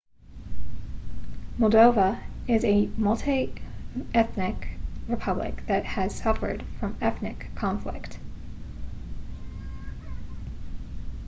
moldova is a multi-ethnic republic that has suffered from ethnic conflict